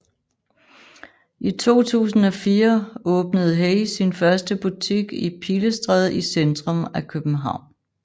I 2004 åbnede HAY sin første butik i Pilestræde i centrum af København